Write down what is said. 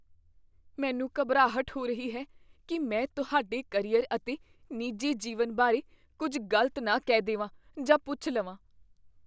ਮੈਨੂੰ ਘਬਰਾਹਟ ਹੋ ਰਹੀ ਹੈ ਕੀ ਮੈਂ ਤੁਹਾਡੇ ਕਰੀਅਰ ਅਤੇ ਨਿੱਜੀ ਜੀਵਨ ਬਾਰੇ ਕੁੱਝ ਗ਼ਲਤ ਨਾ ਕਹਿ ਦੇਵਾਂ ਜਾਂ ਪੁੱਛ ਲਵਾਂ।